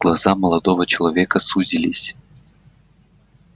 глаза молодого человека сузились